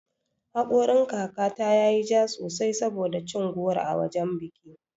Haƙorin kaka ta yayi ja sosai saboda cin goro a wajan biki.